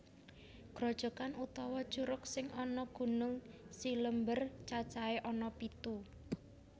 Grojokan utawa curug sing ana Gunung Cilember cacahé ana pitu